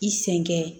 I sen kɛ